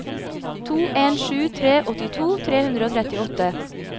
to en sju tre åttito tre hundre og trettiåtte